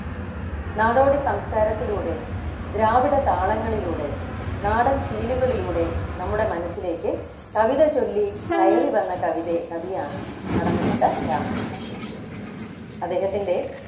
നാടോടി സംസ്കാരത്തിലൂടെ ദ്രാവിഡ താളങ്ങളിലൂടെ നാടൻ ശീലുകളിലൂടെ നമ്മുടെ മനസ്സിലേക്ക് കവിത ചൊല്ലി കയറിവന്ന കവിതേ കവിയാണ് കടമനിട്ട രാമകൃഷ്ണപിള്ള അദ്ദേഹത്തിൻ്റെ